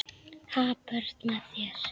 Ha, börn með þér?